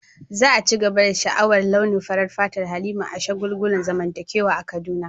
Za a ci gaba da sha'awar launin farar fatar Halima a shagulgulan zamantakewa a Kaduna.